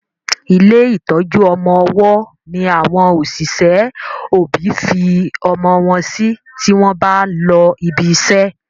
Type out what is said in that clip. ilé ìtọjú ọmọ ọwó ní àwọn òṣìṣẹ́ òbí fí ọmọ wón sí tí wón bá ló ìbí ṣe